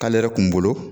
K'ale yɛrɛ kun bolo